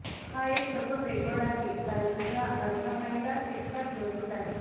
हा एक सखोल रेकॉर्ड आहे कारण दुसरा अर्धा पहिलाच तितकाच मजबूत आहे